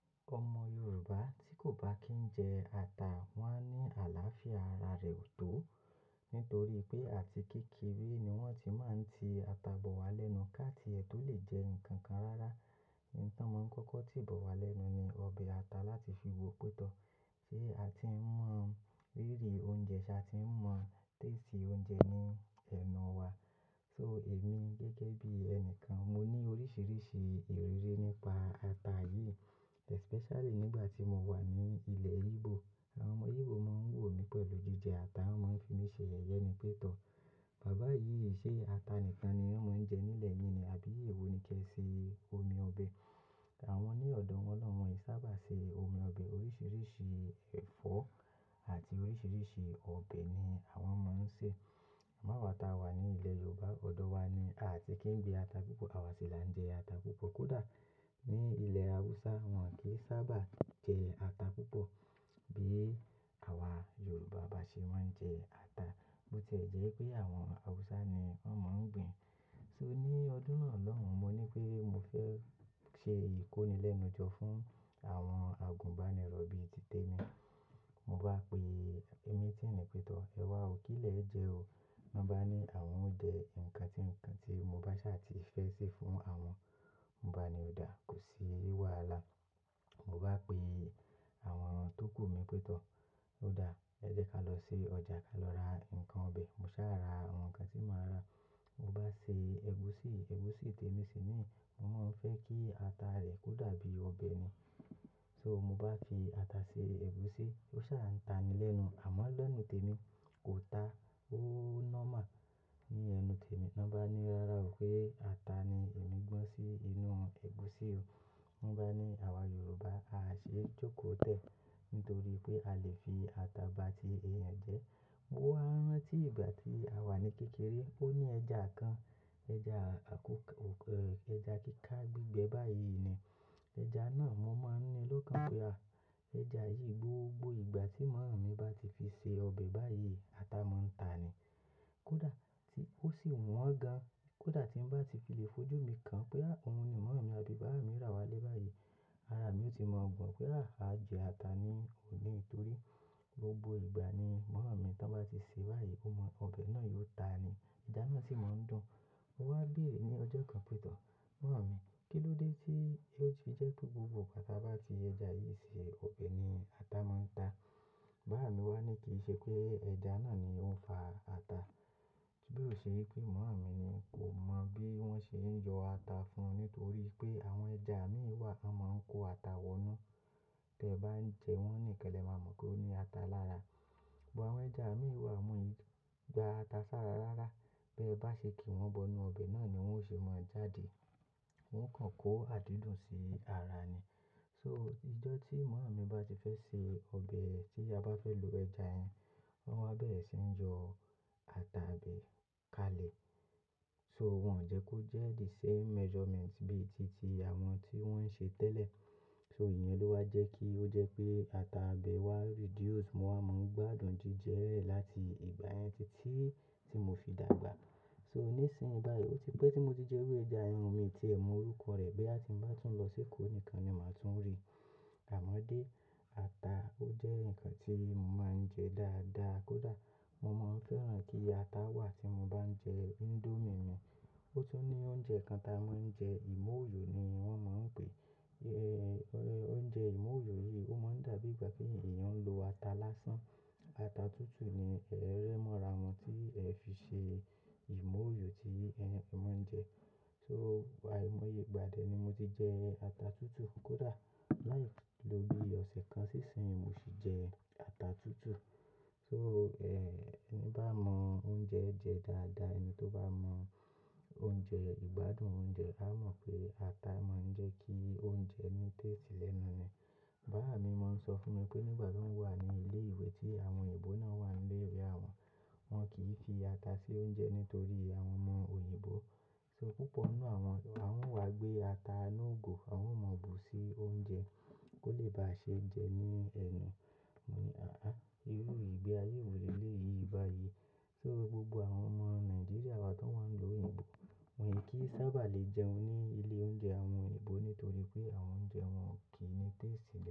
Ọmọ Yorùbá tí kò bá kí ń jẹ ata, wọ́n á ní àlàáfíà ara rẹ̀ ò tó. Nítorí pé àti kékeré ni wọ́n ti máa ń ti ata bọ̀ wá lẹ́nu. Ká ti ẹ̀ tó lè jẹ nǹkan kan rara. Un tan mó ń kọ́kọ́ ti bọ̀ wá lẹ́nu ni ọbẹ̀ ata láti fi wo pétọ̀. Sé a ti mọ ìrírí oúnjẹ, ṣa ti mọ tẹ́ẹ̀sì oúnjẹ ní ẹnu wa. So èmi gẹ́gẹ́ bí ẹnìkan, mo ní oríṣiríṣi ìrírí nípa ata yìí. Especially nígbà tí mo wà ní ilẹ̀ Igbo. Àwọn ọmọ Igbo máa ń wò mí pẹ̀lú jíjẹ ata, wọ́n máa ń fi mí ṣe ẹ̀yẹ ni pétọ̀. "Baba yìí, ṣé ata nìkan ni wọ́n máa ń jẹ nílẹ̀ yín ni? Àbí ewọ ni kí ẹ ṣe omi ọbẹ̀?" Àwọn ní ọ̀dọ̀ wọn lọ́wọ́ wọn yìí sábà ṣe omi ọbẹ̀. Oríṣiríṣi ẹ̀fọ́ àti oríṣiríṣi ọbẹ̀ ni àwọn máa ń sè. Àmọ́ ata wa ní ilẹ̀ Yorùbá, ọ̀dọ̀ wa ni a à tí kì í gbin ata púpọ̀. Àwa sì la ń jẹ ata púpọ̀. Kódà ní ilẹ̀ Awúsá, wọn kì í sábà jẹ ata púpọ̀ bí àwa Yorùbá bá ṣe máa ń jẹ ata. Bí o tiẹ̀ jẹ́ wípé àwọn Awúsá ni wọ́n máa ń gbin. So ní ọdún náà lọ́hòun, mo ní pé mo fẹ́ ṣe ìkónilẹ́nujọ fún àwọn àgùnbánirọ̀ bí i títè mi. Mo bá pe meeting pé tọ̀, "Ẹ wá ò kí le o jẹ o." Wọ́n bá ní àwọn ó jẹ nǹkan tí, nǹkan tí mo bá ṣà ti fẹ́ sè fún àwọn. Mo bá ní, "Ó dáa, kò sí wàhálà." Mo bá pe àwọn tókù mi pé tọ̀. "Ó dáa, ẹ jẹ́ ká lọ sí ọjà, ká lọ ra nǹkan ọbẹ̀." Mo sá ra àwọn nǹkan tí màá rà. Mo bá ṣe ẹ̀gúsí, ẹ̀gúsí tèmi sì ní, "Mo máa fẹ́ kí ata rẹ̀ kó dàbí ọbẹ̀ ni." So mo bá fi ata ṣe ẹ̀gúsí, ó sá ń ta nílẹ̀ ẹ́nu. Àmọ́ lẹ́nu tèmi kò ta. Ó normal ní ẹnu tèmi. Wọ́n bá ní, "Rárá o pé ata ni èmi gbọ́n sí inú ẹ̀gúsí o." Wọ́n bá ní, "Àwa Yorùbá, a ṣe jókòó tẹ́ẹ̀ nítorí pé a lè fi ata ba ti èèyàn jẹ." Mo wá rán tí ìgbà tí a wà ní kékeré, ó ní ẹja kan, ẹja àkókò, ẹja kíkà gbígbẹ báyìí ni. Ẹja náà mo máa ń ní lọ́kàn pé a, ẹja yìí gbogbo ìgbà tí màmá mi bá ti fi ṣe ọbẹ̀ báyìí, ata máa ń ta ni. Kódà tí ó sì wọ́n gan. Kódà tí n bá ti fi lè fojú mi kàn pé à, òun ni màmá mi àbí bàbá mi rà wá lé báyìí, ara mi ó ti mọ̀ gbọ́n pé à, a jẹ ata ni òní. Nítorí gbogbo ìgbà ni màmá tí wọ́n bá ti sè báyìí, ọ mo, ọbẹ̀ náà yóò ta ni. Ẹja náà sì máa ń dùn. Mo wá bèerè ní ọjọ́ kan pé tọ̀, "Màmá mi, kí ló dé tí ó ti jẹ́ pé gbogbo ìgbà tí a bá fi ẹja yìí ṣe ọbẹ̀ ni ata máa ń ta?" Bàbá mi wá ní kì í ṣe pé ẹja náà ni ó ń fa ata. Bí ó ṣe pé màmá mi ni kò mọ̀ bí wọ́n ṣe ń yọ ata fún un nítorí pé àwọn ẹja mí wà, a máa ń kó ata wọ́nú. Tí ẹ bá ń jẹ wọ́n nìkẹlẹ̀, ẹ máa mọ̀ pé ó ní ata lára. Bọ àwọn ẹja mí wà wan o i gba ata ṣára rára. Bí ẹ bá ṣe kì í wọ́n bọnu ọbẹ̀ náà ni wọ́n ó ṣe máa jáde. Wọ́n kàn kó àdídùn sí ara ni. So ìjọ́ tí màmá mi bá ti fẹ́ se ọbẹ̀ tí a bá fẹ́ lo ẹja ẹyin, wọ́n máa bẹ̀rẹ̀ sí ń yọ ata ibẹ́ kalẹ̀. So wọn ò jẹ́ kó jẹ́ the same measurement bí i títí àwọn tí wọ́n ń ṣe tẹ́lẹ̀. So ìyẹn ló wá jẹ́ kí ó jẹ́ pé ata abẹ́ wá reduce. Mo wá máa ń gbádùn jíjẹ rẹ̀ láti ìgbà yẹn títí tí mo fi dàgbà. So nísìnyí báyìí ó ti pẹ́ tí mo ti jẹ orí ẹja ẹyin, mi ti ẹ̀ mọ orúkọ rẹ̀. Bí a ti ń bá tún lọ sí Èkó nìkan ni màá tún rí. Àmọ́ dé, ata ó jẹ́ nǹkan tí mo máa ń jẹ dáadáa. Kódà mo máa ń fẹ́ràn kí ata wà tí mo bá ń jẹ índómì mi. Ó tún ní oúnjẹ kan táa máa ń jẹ, ìmóòyò ni wọ́n máa ń pè é. Eh, oúnjẹ ìmóòyò yìí ó máa ń dàbí ìgbà kí èèyàn ń lo ata lásán. Ata tútù ni ẹ̀rẹ̀ mọ́ra wọn tí ẹ fi ṣe ìmóòyò tí ẹ́ máa ń jẹ. So àìmọye ìgbà díẹ̀ ni mo ti jẹ ata tútù. Kódà láì lo bí i ọ̀sẹ̀ kan sí ìsìn, mo sì jẹ ata tútù. So ẹ́, ẹnibá mọ oúnjẹ ẹ jẹ dáadáa, ẹni tó bá mọ oúnjẹ, ìgbádùn oúnjẹ, á mọ̀ pé ata máa ń jẹ́ kí oúnjẹ ní tẹ́ẹ̀sì lẹ́nu ni. Bàbá mi máa ń sọ fún mi pé nígbà tí wọ́n wà ní ilé ìwé tí àwọn òyìnbó náà wà nílé ilé àwọn, wọn kì í fi ata sí oúnjẹ nítorí àwọn mọ òyìnbó. So púpọ̀ nínú àwọn, àwọn ń wá gbé ata inú ìgò, àwọn ò mọ̀ bù sí oúnjẹ kó lè ba ṣe jẹ ẹ́ ní ẹnu. Mo ní, "Àá, irú ìgbé ayé èwo ni eléyìí báyìí." So gbogbo àwọn ọmọ Nàìjíríà wa tó wá ń lu òyìnbó, wọ́n kì í sábà lè jẹun ní ilé oúnjẹ àwọn òyìnbó nítorí pé àwọn oúnjẹ wọn ò kí ní tẹ́ẹ̀sì.